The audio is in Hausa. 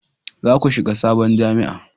za ku shiga sabon jami'a!